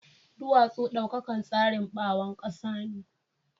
Duwatsu daukakan tsarin bawon kasa ne.